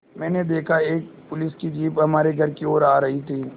मैंने देखा तो एक पुलिस की जीप हमारे घर की ओर आ रही थी